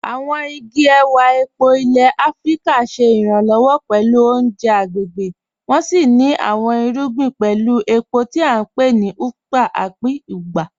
Àwọn igi èwà èpó ilẹ̀ Àfíríkà ṣé iranlọwọ pẹ̀lú ọ̀unjẹ̀ agbegbé, wọ́n sì ní àwọn irùgbìn pẹ̀lú èpó tí à npe ni "ùkpàkà" tàbí "ùgbà".